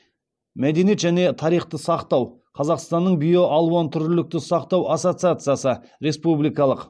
мәдениет және тарихты сақтау қазақстанның биоалуантүрлілікті сақтау ассоциациясы республикалық